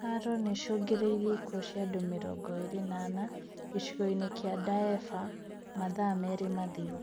Haro nĩicũngĩrĩirie ikuũ cia andũ mĩrongo ĩrĩ na ana, gĩcigo-inĩ kia Daefur mathaa merĩ mathiru